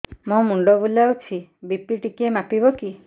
ମୋ ମୁଣ୍ଡ ବୁଲାଉଛି ବି.ପି ଟିକିଏ ମାପିବ କି